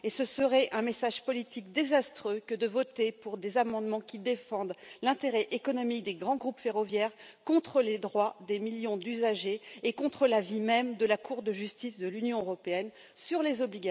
Ce serait donc un message politique désastreux que de voter pour des amendements qui défendent l'intérêt économique des grands groupes ferroviaires contre les droits des millions d'usagers et contre l'avis même de la Cour de justice de l'Union européenne sur les obligations en matière d'indemnisation.